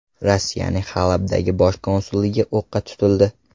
Rossiyaning Halabdagi bosh konsulligi o‘qqa tutildi.